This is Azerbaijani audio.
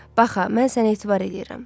Bax ha, mən sənə etibar eləyirəm.